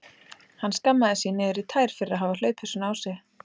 Hann skammaðist sín niður í tær fyrir að hafa hlaupið svona á sig.